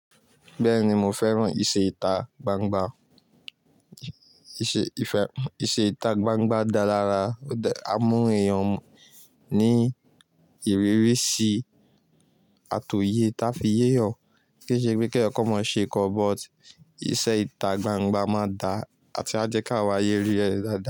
Bẹ́ẹ̀ni, mo fẹ́ràn ìṣe ìtà gbangba. Íṣe, ìfẹ́, ìṣe ìtà gbangba da lára, ó dá, a mú èèyàn ní ìrírí sí àtòye táa fi yé eeyan, kì í ṣe pé kí èèyàn kan máa ṣe nkan, but ìṣe ìtà gbangba má da àti a jẹ́ ki árayé rí ẹ̀ daadaa.